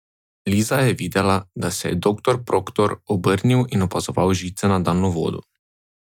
Liza je videla, da se je doktor Proktor obrnil in opazoval žice na daljnovodu.